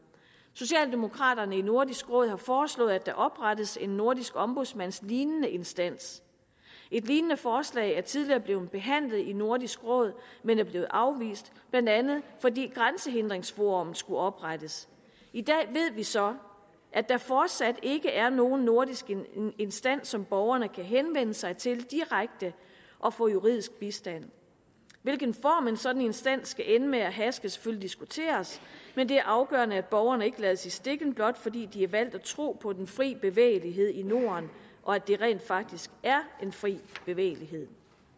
socialdemokraterne i nordisk råd har foreslået at der oprettes en nordisk ombudsmandslignende instans et lignende forslag er tidligere blevet behandlet i nordisk råd men er blevet afvist blandt andet fordi grænsehindringsforum skulle oprettes i dag ved vi så at der fortsat ikke er nogen nordisk instans som borgerne kan henvende sig til direkte og få juridisk bistand hvilken form en sådan instans skal ende med have skal selvfølgelig diskuteres men det er afgørende at borgerne ikke lades i stikken blot fordi de har valgt at tro på den frie bevægelighed i norden og at det rent faktisk er en fri bevægelighed